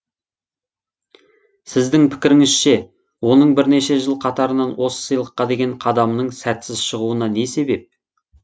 сіздің пікіріңізше оның бірнеше жыл қатарынан осы сыйлыққа деген қадамының сәтсіз шығуына не себеп